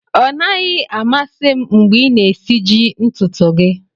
Ọ naghị amasị m mgbe ị na-esiji ntutu gị